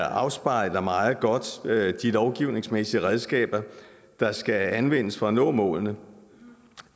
afspejler meget godt de lovgivningsmæssige redskaber der skal anvendes for at nå målene